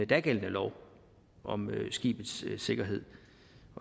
dagældende lov om skibes sikkerhed